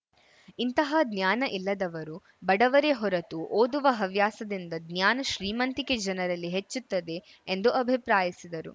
ಇಂತಹ ಜ್ಞಾನ ಇಲ್ಲದವರು ಬಡವರೆ ಹೊರತು ಓದುವ ಹವ್ಯಾಸದಿಂದ ಜ್ಞಾನ ಶ್ರೀಮಂತಿಕೆ ಜನರಲ್ಲಿ ಹೆಚ್ಚುತ್ತದೆ ಎಂದು ಅಭಿಪ್ರಾಯಿಸಿದರು